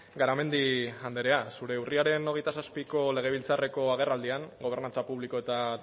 garamendi andrea zure urriaren hogeita zazpiko legebiltzarreko agerraldian gobernantza publiko eta